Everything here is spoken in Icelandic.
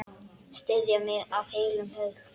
Styðja mig af heilum hug?